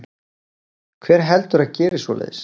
Hver heldurðu að geri svoleiðis?